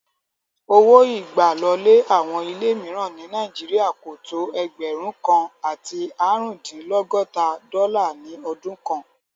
Owó ìgbàlọlé àwọn ilé míìràn ní Nàíjírìà kò tó ẹgbẹ̀rún kan àti áàrúndínlọ́gọta dọ́là ní ọdún kan